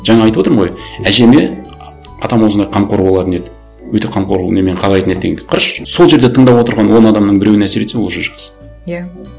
жаңа айтып отырмын ғой әжеме атам осындай қамқор болатын еді өте қамқор немен қарайтын еді дегенді қарашы сол жерде тыңдап отырған он адамның біреуіне әсер етсе ол уже жақсы иә